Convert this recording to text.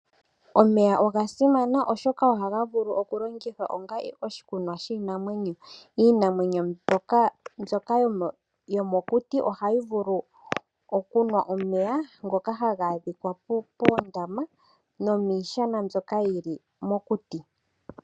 Omeya oga simana, oshoka ohaga vulu okulongithwa onga oshikunwa shiinamwenyo. Iinamwenyo mbyoka yomokuti ohayi vulu okunwa omeya ngoka haga adhika moondama nomuundombe mbyoka wu li mokuti.